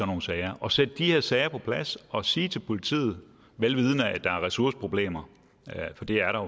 nogle sager og sætte de her sager på plads og sige til politiet vel vidende at der er ressourceproblemer for det er